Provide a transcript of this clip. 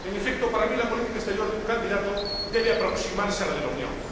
En efecto, en mi opinión, la política exterior de un candidato debe aproximarse a la de la Unión.